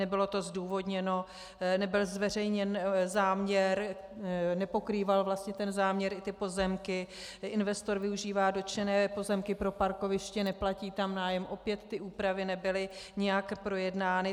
Nebylo to zdůvodněno, nebyl zveřejněn záměr, nepokrýval vlastně ten záměr i ty pozemky, investor využívá dotčené pozemky pro parkoviště, neplatí tam nájem, opět ty úpravy nebyly nijak projednány.